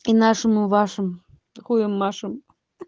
и нашим и вашим а хуем машем